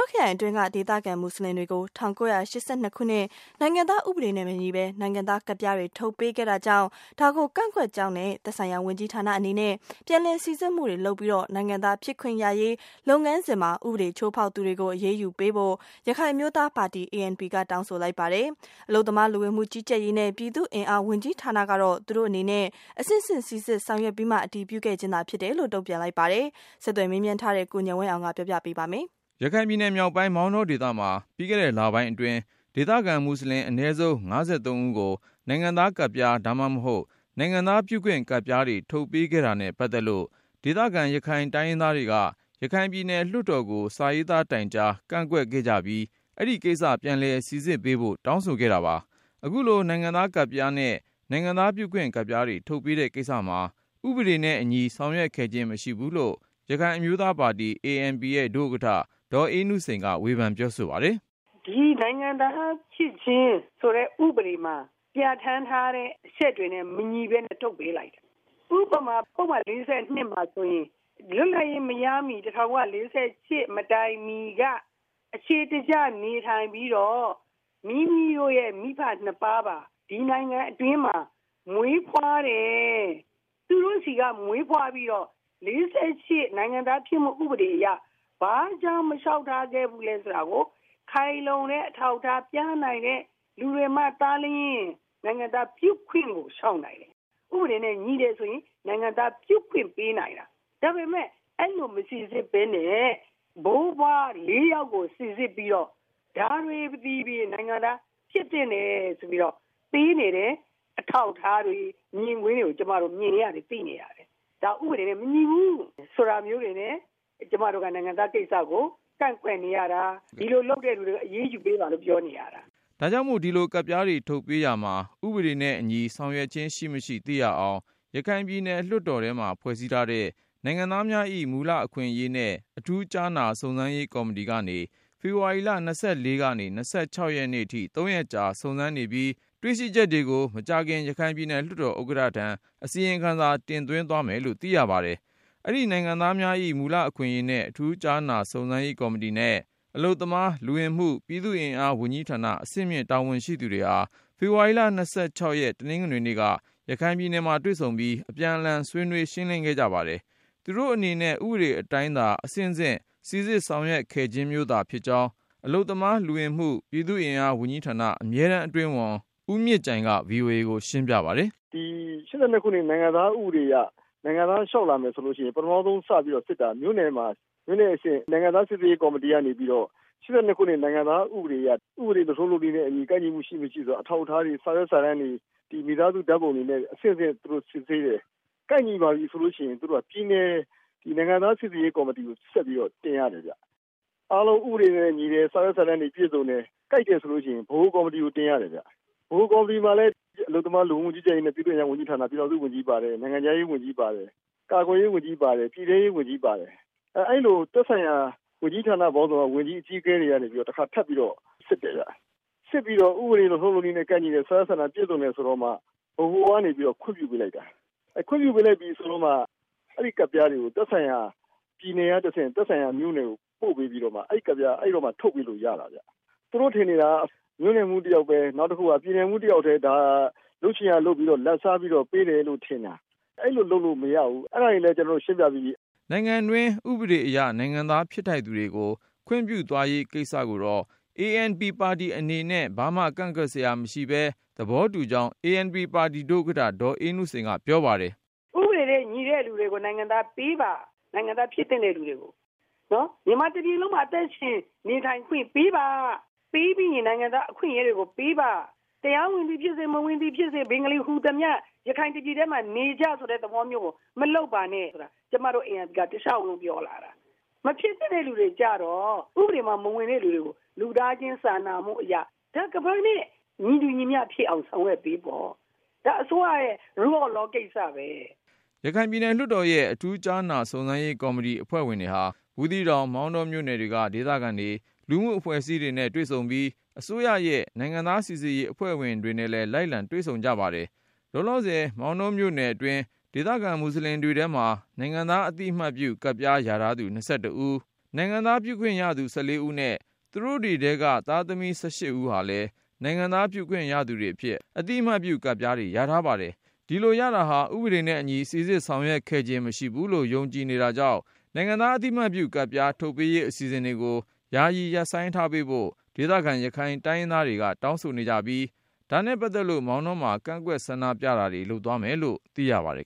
ောခရိုင်အတွင်းက ဒေသခံမွတ်စလင်တွေကို ၁၉၈၂ ခုနှစ် နိုင်ငံသားဥပဒေနဲ့ မညီဘဲ နိုင်ငံသားကတ်ပြားတွေ ထုတ်ပေးခဲ့တာကြောင့် ဒါကိုကန့်ကွက်ကြောင်းနဲ့ သက်ဆိုင်ရာ ဝန်ကြီးဌာနအနေနဲ့ ပြန်လည်စိစစ်မှုတွေလုပ်ပြီး နိုင်ငံသားဖြစ်ခွင့်ရရေး လုပ်ငန်းစဉ်မှာ ဥပဒေချိုးဖေါက် သူတွေကို အရေးယူပေးဖို့ ရခိုင်အမျိုးသားပါတီ ANP က တောင်းဆိုလိုက်ပါတယ်။ အလုပ်သမား လူဝင်မှုကြီးကြပ်ရေးနဲ့ ပြည်သူ့အင်အား ဝန်ကြီးဌာနကတော့ သူတို့အနေနဲ့ အဆင့်ဆင့် စိစစ်ဆောင်ရွက်ပြီးမှ အတည်ပြုခဲ့ ခြင်းသာ ဖြစ်တယ်လို့ တုံ့ပြန်ပါတယ်။ ဆက်သွယ်မေးမြန်း ထားတဲ့ ကိုဉာဏ်ဝင်းအောင်က တင်ပြပါမယ်။ ရခိုင်ပြည်နယ်မြောက်ပိုင်း မောင်တောဒေသမှာ ပြီးခဲ့တဲ့ လပိုင်းအတွင်း ဒေသခံမွတ်စလင် အနည်းဆုံး ၅၃ ဦးကို နိုင်ငံသားကဒ်ပြား ဒါမှမဟုတ် နိုင်ငံသားပြုခွင့် ကတ်ပြားတွေ ထုတ်ပေးခဲ့တာနဲ့ ပတ်သက်လို့ ဒေသခံ ရခိုင်တိုင်းရင်းသားတွေက ရခိုင်ပြည်နယ် လွှတ်တော်ကို စာရေးသား တိုင်ကြား ကန့်ကွက် ခဲ့ကြပြီး အဲဒီကိစ္စ ပြန်လည် စိစစ်ပေးဖို့ တောင်းဆိုခဲ့တာပါ။ အခုလို နိုင်ငံသားကဒ်ပြားနဲ့ နိုင်ငံသားပြုခွင့် ကတ်ပြားတွေ ထုတ်ပေးတဲ့ကိစ္စမှာ ဥပဒေနဲ့ အညီ ဆောင်ရွက်ခဲ့ခြင်း မရှိဘူးလို့ ရခိုင်အမျိုးသားပါတီ ANP ရဲ့ဒုဥက္ကဌ ဒေါ်အေးနုစိန် က ဝေဖန်ပြော ဆိုပါတယ်။ “ဒီနိုင်ငံသားဖြစ်ခြင်းဆိုတဲ့ ဥပဒေမှာ ပြဌာန်းထားတဲ့အချက်တွေနဲ့ မညီပဲနဲ့ ထုတ်ပေး လိုက်တယ်။ ဥပမာ ပုဒ်မ ၄၂ မှာဆိုရင် လွတ်လပ်ရေးမရမှီ ၁၉၄၈ မတိုင်ခင်က အခြေ တကျနေထိုင်ပြီးတော့ မိမိတို့ရဲ့မိဘနှစ်ပါးပါ၊ ဒီနိုင်ငံအတွင်းမှာ မွေးဖွားတယ်၊ သူတို့ ဆီက မွေးဖွားပြီးတော့ ၄၈ နိုင်ငံသားဖြစ်မှု ဥပဒေအရ ဘာကြောင့် မလျှောက်ထားခဲ့ ဘူးလဲဆိုတာကို ခိုင်လုံတဲ့ အထောက်အထားပြနိုင်တဲ့ သူတွေမှသာလျှင် နိုင်ငံသားပြု ခွင့်ကို လျှောက်နိုင်တယ်။ ဥပဒေနဲ့ ညီတယ်ဆိုရင် နိုင်ငံသားပြုခွင့်ပေးနိုင်တာ။ ဒါပေမယ့် အဲဒီလို မစိစစ်ပဲနဲ့ ဘိုးဘွား ၄ယောက်ကို စိစစ်ပြီးတော့ ဒါတွေသည် နိုင်ငံသားဖြစ်သင့် တယ်ဆိုပြီးတော့ ပေးနေတဲ့ အထောက်အထားတွေ ၊ မြင်ကွင်းတွေကို ကျမတို့ မြင်နေ ရတယ်၊ သိနေရတယ်။ ဒါဥပဒေနဲ့ မညီဘူး ဆိုတာမျိုးနဲ့ ကျမတို့က နိုင်ငံသားကိစ္စကို ကန့်ကွက်နေရတာ၊ ဒီလို လုပ်တဲ့လူတွေကို အရေးယူပေးပါလို့ ပြောနေရတာ။” ဒါကြောင့်မို့ ဒီလိုကဒ်ပြားတွေ ထုတ်ပေးရာမှာ ဥပဒေနဲ့အညီ ဆောင်ရွက်ခြင်း ရှိမရှိ သိရအောင် ရခိုင်ပြည်နယ် လွှတ်တော်ထဲမှာ ဖွဲ့စည်းထားတဲ့ နိုင်ငံသားများ၏ မူလ အခွင့်အရေးနဲ့ အထူးကြားနာ စုံစမ်းရေးကော်မတီကနေ ဖေဖော်ဝါရီ ၂၄ ကနေ ၂၆ ရက် အထိ သုံးရက်ကြာ စုံစမ်းနေပြီး တွေ့ရှိချက်တွေကို မကြာခင် ရခိုင်ပြည်နယ် လွှတ်တော် ဥက္ကဋ္ဌထံ အစီရင်ခံစာ တင်သွင်းသွားမယ်လို့ သိရပါတယ်။ အဲဒီ နိုင်ငံသားများ၏ မူလအခွင့်အရေးနဲ့ အထူးကြားနာစုံစမ်းရေးကော်မတီနဲ့ အလုပ် သမား လူဝင်မှု ပြည်သူ့အင်အား ဝန်ကြီးဌာန အဆင့်မြင့် တာဝန်ရှိသူတွေဟာ ဖေဖေါ်ဝါရီ ၂၆ တနင်္ဂနွေနေ့က ရခိုင်ပြည်နယ်မှာတွေ့ဆုံပြီး အပြန်အလှန် ဆွေးနွေးရှင်းလင်း ခဲ့ကြ ပါတယ်။ သူတို့အနေနဲ့ ဥပဒေအတိုင်းသာ အဆင့်ဆင့် စိစစ်ဆောင်ရွက် ခဲ့ခြင်းမျိုးသာ ဖြစ်ကြောင်း အလုပ်သမား လူဝင်မှု ပြည်သူ့အင်အား ဝန်ကြီးဌာန အမြဲတမ်း အတွင်းဝင် ဦးမြင့်ကြိုင်က VOA ကိုရှင်းပြပါတယ်။ “ဒီ ၈၂ ခုနှစ် နိုင်ငံသားဥပဒေအရ နိုင်ငံသားလျှောက် လာမယ်ဆိုရင် ပထမဦးဆုံးစစ် တာက မြို့နယ်မှာ မြို့နယ်အဆင့် နိုင်ငံသားစိစစ်ရေး ကေ်ာမတီ ကနေပြီးတော့ ၈၂ ခုနှစ် နိုင်ငံသား ဥပဒေအရ ဥပဒေ လုပ်ထုံးလုပ်နည်းနဲ့အညီ ကိုက်ညီမှုရှိမရှိ အထောက် အထားတွေ၊ စာရွက်စာတန်းတွေ၊ မိသားစု ဓါတ်ပုံတွေ နဲ့ အဆင့်ဆင့် သူတို့ စစ်ဆေး တယ်။ ကိုက်ညီပါပြီဆိုရင် ပြည်နယ် နိုင်ငံသား စိစစ်ရေးကေ်ာမတီကို ဆက်ပြီးတော့ တင်ရတယ်ခင်ဗျ။ အားလုံး ဥပဒေနဲ့ညီတယ် ၊ စာရွက်စာတန်းတွေ ပြည့်စုံတယ်၊ ကိုက်တယ် ဆိုရင် ဗဟိုကော်မတီကို တင်ရတယ်ခင်ဗျ၊ ဗဟိုကော်မတီမှာလည်း အလုပ် သမား လူဝင်မူကြီးကြပ်ရေးနဲ့ ပြည်သူ့အင်အား၊ လူဝင်မူ ကြီးကြပ်ရေးနဲ့ ပြည်ထောင်စု ဝန်ကြီးပါတယ်၊ နိုင်ငံခြားရေး ဝန်ကြီးပါတယ်၊ ကာကွယ်ရေး ဝန်ကြီးပါတယ်၊ ပြည်ထဲရေး ဝန်ကြီးပါတယ်။ အဲလိုသက်ဆိုင်ရာ ဝန်ကြီးဌာနပေါင်းစုံက ဝန်ကြီး အကြီးအကဲတွေ ကနေပြီးတော့ တခါထပ်ပြီးတော့ စစ်တယ်ခင်ဗျ။ စစ်ပြီးတော့ ဥပဒေ လုပ်ထုံးလုပ်နည်းနဲ့ ကိုက်ညီတယ် ၊ စာရွက်စာတန်း ပြည့်စုံတယ်ဆိုတော့မှ ဗဟိုကနေပြီးတော့ ခွင့်ပြုပေး လိုက်တာ။ ခွင့်ပြုပေးလိုက်ပြီ ဆိုတော့မှ အဲဒီကဒ်ပြားတွေကို သက်ဆိုင်ရာ ပြည်နယ်တွေ ကနေတဆင့် သက်ဆိုင်ရာမြို့နယ်တွေကို ပို့ပေးပြီးတော့မှ အဲဒီကတ်ပြားက အဲဒီတော့မှ ထုတ်ပေးလို့ ရတာခင်ဗျ။ သူတို့ ထင်နေတာက မြို့နယ်မှူး တယောက်ပဲ၊ ပြည်နယ်မှူး တယောက်ပဲ လုပ်ချင်ရာလုပ်ပြီးတော့ လာဘ်စားပြီးတော့ ပေးတယ်ထင်တာ၊ အဲဒီလို လုပ်လို့မရဘူး အဲဒါတွေလည်း ကျနော်တို့ ရှင်းပြပြီးပြီ။” နိုင်ငံတွင်းဥပဒေအရ နိုင်ငံသားဖြစ်ထိုက်သူတွေကို ခွင့်ပြုသွားရေးကိစ္စကို ANP ပါတီအနေ နဲ့ ဘာမှကန့်ကွက်စရာ မရှိဘူးပဲ သဘောတူကြောင်း ANP ဒုဥက္ကဌ ဒေါ်အေးနုစိန် က ပြောပါတယ်။ “ဥပဒေနဲ့ ညီတဲ့လူတွေကို နိုင်ငံသားပေးပါ ၊ နိုင်ငံသားဖြစ်သင့်တဲ့ လူတွေကို.. မြန်မာ တပြည်လုံးမှာ အသက်ရှင်နေ ထိုင်ခွင့်ပေးပါ၊ ပေးပြီးရင် နိုင်ငံသားအခွင့် အရေးတွေကို ေ ပးပါ။ တရားဝင်သည်ဖြစ်စေ၊ မဝင်သည်ဖြစ်စေ ဘင်္ဂလီဟူသမျှ ရခိုင်တပြည်ထဲမှာနေကြ ဆိုတဲ့သဘောမျိုးကို မလုပ်ပါနဲ့ ဆိုတာ ကျမတို့ ANP ကတလျှောက်လုံး ပြောလာတာ။ မဖြစ်သင့်တဲ့ လူတွေကျတော့ ဥပဒေမှာ မဝင်တဲ့ လူတွေကို လူသားချင်းစာနာမှုအရ ညီတူညီမျှ ဖြစ်အောင် ဆောင်ရွက်ပေးပေါ့။ ဒါအစိုးရရဲ့ Rule of Law ကိစ္စပဲ။” ရခိုင်ပြည်နယ်လွှတ်တော်ရဲ့ အထူးကြားနာ စုံစမ်းရေးကော်မတီအဖွဲ့ဟာ ဘူးသီးတောင် ေ မာင်တော မြို့နယ်တွေက ဒေသခံတွေ၊ လူမှုအဖွဲ့ အစည်းတွေနဲ့ တွေ့ဆုံပြီး အစိုးရရဲ့ နိုင်ငံသားစိစစ်ရေး အဖွဲ့ဝင်တွေနဲ့လည်း လိုက်လံတွေ့ဆုံ ကြပါတယ်။ လောလောဆယ် ေ မာင်တောမြို့နယ် အတွင်း ဒေသခံ မွတ်စလင်တွေထဲမှာ နိုင်ငံသားအသိအမှတ်ပြု ကတ်ပြားရထားသူ ၂၁ ဦး၊ နိုင်ငံသားပြုခွင့် ရသူ ၁၄ ဦးနဲ့ သူတို့တွေထဲက သားသမီး ၁၈ ဦးဟာလည်း နိုင်ငံသားပြုခွင့် ရသူတွေအဖြစ် အသိအမှတ်ပြု ကတ်ပြားတွေ ရထားပါတယ်။ ဒီလို ရရှိတာဟာ ဥပဒေနှင့်အညီ စိစစ်ဆောင်ရွက်ခဲ့ခြင်း မရှိဘူးလို့ ယုံကြည်နေကြ တာကြောင့် နိုင်ငံသား အသိအမှတ်ပြုကတ်ပြား ထုတ်ပေးရေးအစီအစဉ်တွေကို ယာယီ ရပ်ဆိုင်း ထားပေးဖို့ ဒေသခံ ရခိုင်တိုင်းရင်းသားတွေက တောင်းဆိုနေကြပြီး ဒါနဲ့ ပတ်သက်လို့ မောင်တောမှာ ကန့်ကွက်ဆန္ဒပြတာတွေ လုပ်သွားမယ်လို့ သိရပါတယ်